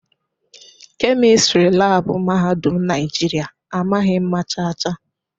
Kemịstịrị laabụ mahadum Naijiria amaghị mma chaa chaa.